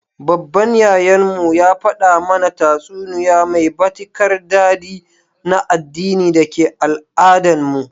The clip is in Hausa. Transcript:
Baban Yayan mu, ya fada mana tatsuniya mai batikar dadi na addini dake Al-Adan mu.